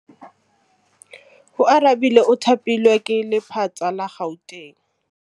Oarabile o thapilwe ke lephata la Gauteng.